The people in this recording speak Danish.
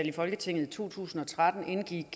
i folketinget i to tusind og tretten indgik